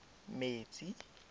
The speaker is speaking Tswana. metsi